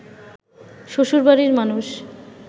শ্বশুরবাড়ির মানুষ